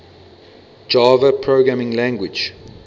java programming language